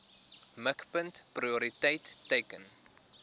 mikpunt prioriteit teiken